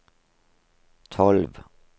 tolv